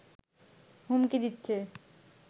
হুমকি দিচ্ছে